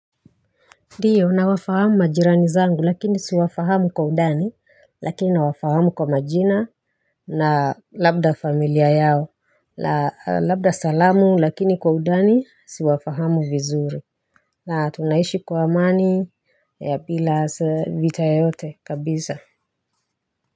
Ndio nawafahamu majirani zangu lakini siwafahamu kwa undani, lakini nawafahamu kwa majina na labda familia yao, labda salamu lakini kwa undani siwafahamu vizuri. Na tunaishi kwa amani ya bila vita yoyote kabisa.